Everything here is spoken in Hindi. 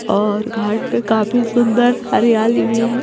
और घाट पे काफी सुंदर हरियाली भी है।